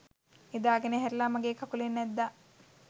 නිදාගෙන ඇහැරිලා මගේ කකුලෙන් ඇද්දා.